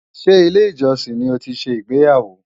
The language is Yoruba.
Ṣé ilé-ìjọsìn ni ó ti ṣe ìgbéyàwó?